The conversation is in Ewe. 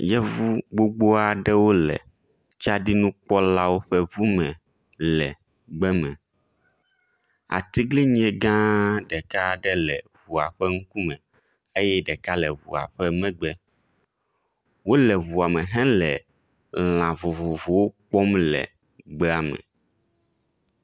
Yevu gbogbo aɖewo le tsaɖinukpɔlawo ƒe ŋu me le gbe me. atiglinyi gã ɖeka le ŋua ƒe ŋkume eye ɖeka le ŋua ƒe megbe. Wo le ŋua me hele lã vovovo aɖewo kpɔm le gbea me.